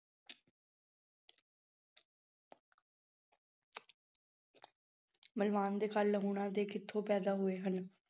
ਲੂਣਾ ਦੇ ਕਿੱਥੋਂ ਪੈਦਾ ਹੋਏ ਹਨ।